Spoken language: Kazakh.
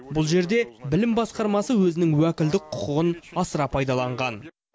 бұл жерде білім басқармасы өзінің уәкілдік құқығын асыра пайдаланған